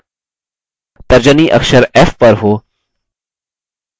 तर्जनी अखर f पर हो